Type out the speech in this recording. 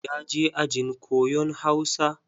Ya je ajin koyon Hausa.